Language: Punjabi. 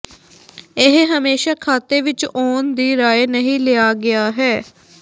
ਇਹ ਹਮੇਸ਼ਾ ਖਾਤੇ ਵਿੱਚ ਆਉਣ ਦੀ ਰਾਏ ਨਹੀ ਲਿਆ ਗਿਆ ਹੈ